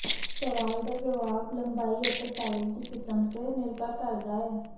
ਸਵਾਲ ਦਾ ਜਵਾਬ ਲੰਬਾਈ ਅਤੇ ਟਾਈਪ ਦੀ ਕਿਸਮ ਤੇ ਨਿਰਭਰ ਕਰਦਾ ਹੈ